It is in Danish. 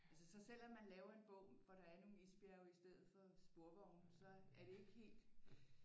Altså så selvom man laver en bog hvor der er nogle isbjerge i stedet for sporvogne så er det ikke helt